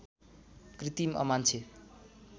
कृति अमान्छे